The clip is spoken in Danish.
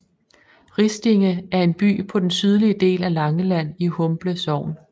Ristinge er en by på den sydlige del af Langeland i Humble Sogn